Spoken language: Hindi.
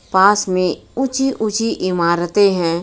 पास में ऊंची ऊंची इमारतें हैं.